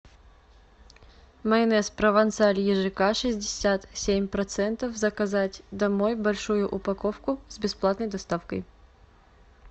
майонез провансаль ежк шестьдесят семь процентов заказать домой большую упаковку с бесплатной доставкой